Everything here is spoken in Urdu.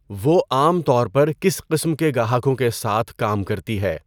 وہ عام طور پر کس قسم کے گاہکوں کے ساتھ کام کرتی ہے؟